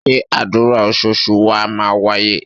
Ṣé àdúrà oṣoòṣù wa máa wáyé?